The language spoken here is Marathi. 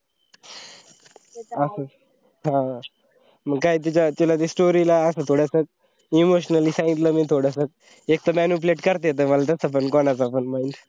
असेच अं मंग काए तिच्या ते तिला story ले अंस थोडसं emotionally सांगितलं मी थोडस एक तर manipulate करता येत मला कोणाला पण मग